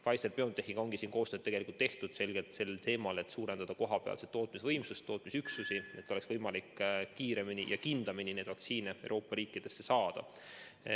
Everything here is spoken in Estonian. Pfizeri-BioNTechiga ongi koostööd tehtud tegelikult selgelt selle suunaga, et suurendada kohapealset tootmisvõimsust, kohapealseid tootmisüksusi, et oleks võimalik kiiremini ja kindlamini neid vaktsiine Euroopa riikidesse tarnida.